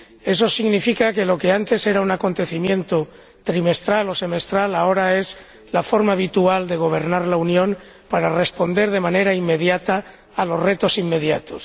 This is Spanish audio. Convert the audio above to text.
Eso significa que lo que antes era un acontecimiento trimestral o semestral ahora es la forma habitual de gobernar la Unión para responder de manera inmediata a los retos inmediatos.